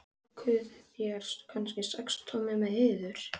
Hann var við nám þar ytra en lauk því ekki.